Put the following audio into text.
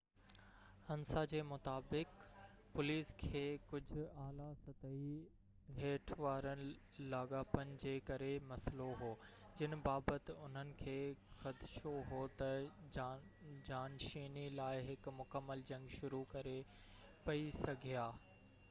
انسا جي مطابق، پوليس کي ڪجهه اعليٰ سطحي هٽ وارن لاڳاپن جي ڪري مسئلو هو جن بابت انهن کي خدشو هو ته جانشيني لاءِ هڪ مڪمل جنگ شروع ڪري پئي سگهيا